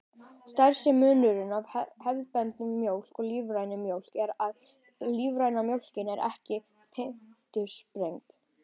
Stærsti munurinn á hefðbundinni mjólk og lífrænni mjólk er að lífræna mjólkin er ekki fitusprengd.